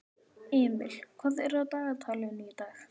Emil, hvað er á dagatalinu í dag?